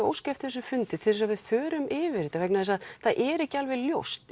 óska eftir þessum fundi til þess að við förum yfir þetta vegna þess að það er ekki alveg ljóst